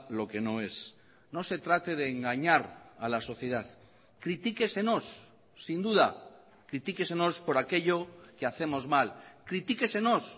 lo que no es no se trate de engañar a la sociedad critíquesenos sin duda critíquesenos por aquello que hacemos mal critíquesenos